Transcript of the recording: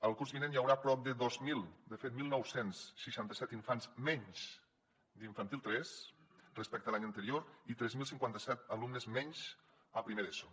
el curs vinent hi haurà prop de dos mil de fet dinou seixanta set infants menys d’infantil tres respecte a l’any anterior i tres mil cinquanta set alumnes menys a primer d’eso